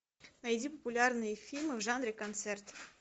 найди популярные фильмы в жанре концерт